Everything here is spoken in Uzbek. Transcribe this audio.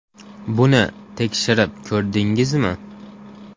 Buni tekshirib ko‘rdingizmi?